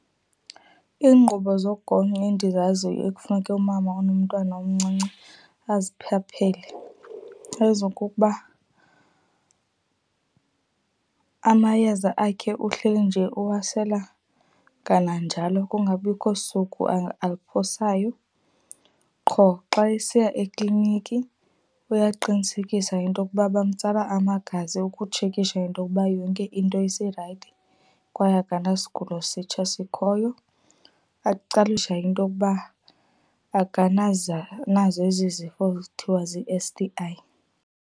Iinkqubo zogonyo endizaziyo ekufuneka umama onomntwana omncinci aziphaphele zezokokuba, amayeza akhe uhleli nje uwasela kananjalo kungabikho suku aluphosayo. Qho xa esiya ekliniki uyaqinisekisa into okuba bamtsala amagazi ukutshekisha into okuba yonke into iserayithi kwaye akanasigulo sitsha sikhoyo. into okuba akanazo ezi zifo kuthiwa zii-S_T_I.